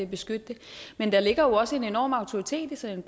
beskytte det men der ligger jo også en enorm autoritet i sådan